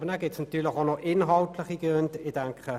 Natürlich gibt es auch noch inhaltliche Gründe.